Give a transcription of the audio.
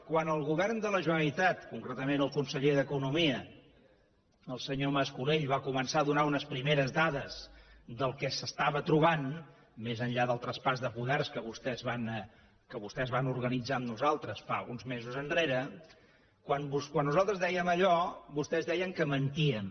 quan el govern de la generalitat concretament el conseller d’economia el senyor mas colell va començar a donar unes primeres dades del que s’estava trobant més enllà del traspàs de poders que vostès van organitzar amb nosaltres fa uns mesos quan nosaltres dèiem allò vostès deien que mentíem